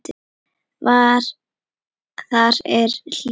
Þar er hlýtt.